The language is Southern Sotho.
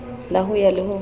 la ho ya le ho